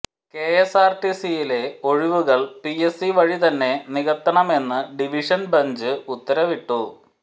കെഎസ്ആർടിസിയിലെ ഒഴിവുകൾ പിഎസ്സി വഴി തന്നെ നികത്തണമെന്ന് ഡിവിഷൻ ബെഞ്ച് ഉത്തരവിട്ടു